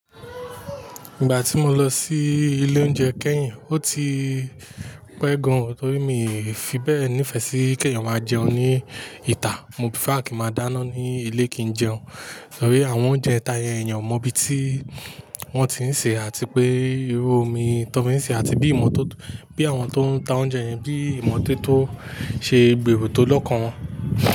Ìgbà tí mo lọ sí ilé oúnjẹ kẹ́yìn, ó ti pẹ́ gan o, torí mi i fi bẹ́ẹ̀ nífẹ̀ẹ́ sí kẹ́yan máa jẹun ní ìta. Mo prefer kí n máa dáná ní ilé kí n jẹun. Torí àwọn oúnjẹ ìta yẹn, èèyàn mọ bí tí wọ́n ti ń sè àti pé irú omi tọ́n fi ń sè àti bí ìmọ́tótó bí àwọn tó ń ta oúnjẹ yẹn bí ìmọ́tótó ṣe gbèrò tó lọ́kàn wọn.